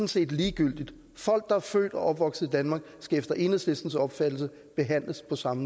set ligegyldigt folk der er født og opvokset i danmark skal efter enhedslistens opfattelse behandles på samme